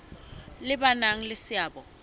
le ba nang le seabo